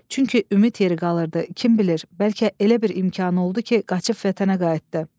Çünki ümid yeri qalırdı, kim bilir, bəlkə elə bir imkanı oldu ki, qaçıb vətənə qayıtdı.